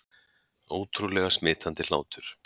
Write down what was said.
Ótrúlega smitandi hlátur